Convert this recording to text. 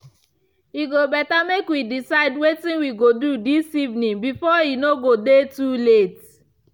e go better make we decide wetin we go do this evening before e no go dey too late